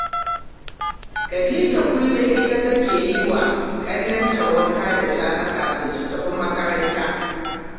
Khadija kullum ita take yi wa ƙannenta wanka da safe kafin su tafi makaranta